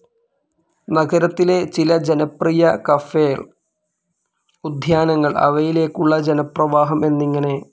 നഗരത്തിലെ ചില ജനപ്രിയ കഫേൾ, ഉദ്യാനങ്ങൾ അവയിലേക്കുള്ള ജനപ്രവാഹം എന്നിങ്ങനെ.